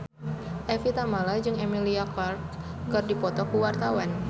Evie Tamala jeung Emilia Clarke keur dipoto ku wartawan